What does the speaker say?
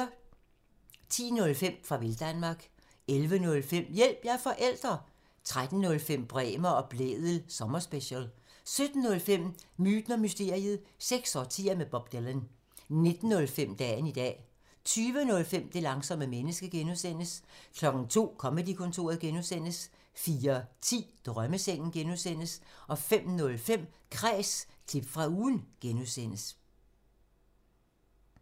10:05: Farvel Danmark 11:05: Hjælp – jeg er forælder! 13:05: Bremer og Blædel sommerspecial 17:05: Myten og mysteriet – seks årtier med Bob Dylan 19:05: Dagen i dag 20:05: Det langsomme menneske (G) 02:00: Comedy-kontoret (G) 04:10: Drømmesengen (G) 05:05: Kræs – klip fra ugen (G)